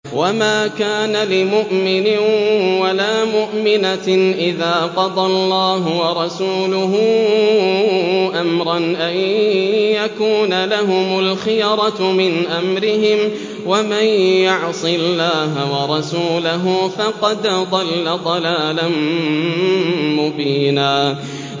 وَمَا كَانَ لِمُؤْمِنٍ وَلَا مُؤْمِنَةٍ إِذَا قَضَى اللَّهُ وَرَسُولُهُ أَمْرًا أَن يَكُونَ لَهُمُ الْخِيَرَةُ مِنْ أَمْرِهِمْ ۗ وَمَن يَعْصِ اللَّهَ وَرَسُولَهُ فَقَدْ ضَلَّ ضَلَالًا مُّبِينًا